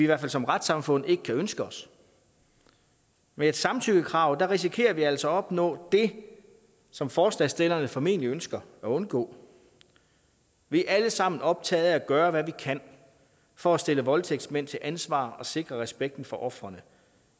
hvert fald som retssamfund ikke kan ønske os med et samtykkekrav risikerer vi altså at opnå det som forslagsstillerne formentlig ønsker at undgå vi er alle sammen optaget af at gøre hvad vi kan for at stille voldtægtsmænd til ansvar og sikre respekten for ofrene